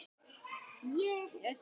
Við þetta var ekki staðið.